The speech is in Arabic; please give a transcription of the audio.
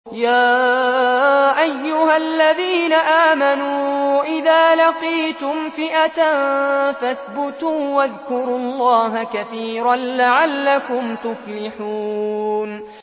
يَا أَيُّهَا الَّذِينَ آمَنُوا إِذَا لَقِيتُمْ فِئَةً فَاثْبُتُوا وَاذْكُرُوا اللَّهَ كَثِيرًا لَّعَلَّكُمْ تُفْلِحُونَ